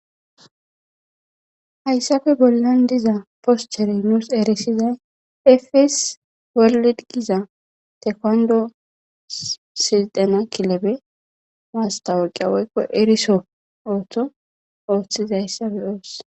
Haysape bollan diza posterezi nu xelisizay FS Giza tokando sixena kilebes mastawoqiya woyko eriso wothidaysa beyos